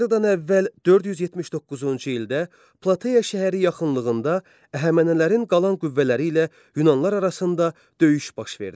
Eradan əvvəl 479-cu ildə Plateya şəhəri yaxınlığında Əhəmənlərin qalan qüvvələri ilə Yunanlar arasında döyüş baş verdi.